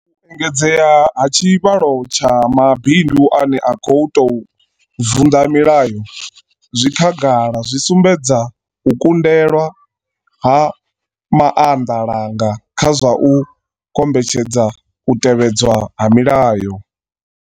U engedzea ha tshivhalo tsha mabindu ane a khou tou vunḓa milayo zwi khagala zwi sumbedza u kundelwa ha maanḓalanga kha zwa u kombetshedza u tevhedzwa ha milayo.